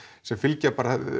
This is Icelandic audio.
sem fylgja